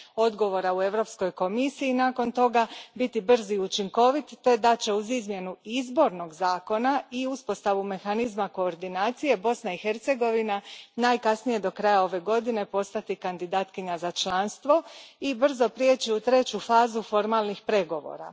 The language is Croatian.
odgovora u Europskoj komisiji, nakon toga biti brz i učinkovit te da će uz izmjenu izbornog zakona i uspostavu mehanizma koordinacije, Bosna i Hercegovina najkasnije do kraja ove godine postati kandidatkinja za članstvo i brzo prijeći u treću fazu formalnih pregovora.